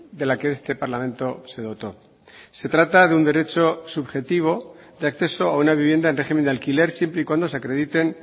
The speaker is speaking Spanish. de la que este parlamento se dotó se trata de un derecho subjetivo de acceso a una vivienda en régimen de alquiler siempre y cuando se acrediten